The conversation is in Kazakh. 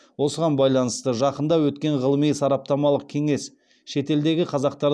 осыған байланысты жақында өткен ғылыми сараптамалық кеңес шетелдегі қазақтар